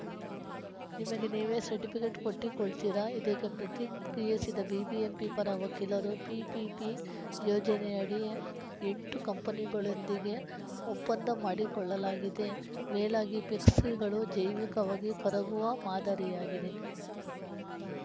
ನಿಮಗೆ ನೀವೇ ಸರ್ಟಿಫಿಕೇಟ್‌ ಕೊಟ್ಟಿಕೊಳ್ತೀರಾ ಇದಕ್ಕೆ ಪ್ರತಿಕ್ರಿಯಿಸಿದ ಬಿಬಿಎಂಪಿ ಪರ ವಕೀಲರು ಪಿಪಿಪಿ ಯೋಜನಯಡಿ ಎಂಟು ಕಂಪನಿಗಳೊಂದಿಗೆ ಒಪ್ಪಂದ ಮಾಡಿಕೊಳ್ಳಲಾಗಿದೆ ಮೇಲಾಗಿ ಪೆಕ್ಸಿಗಳು ಜೈವಿಕವಾಗಿ ಕರಗುವ ಮಾದರಿಯಾಗಿದೆ